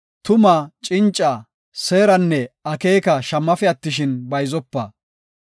Tumaa, cinca, seeranne akeeka shammafe attishin, bayzopa.